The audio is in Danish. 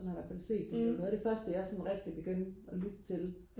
sådan har jeg i hvertfald set det det var noget af det første jeg sådan rigtig begyndte og lytte til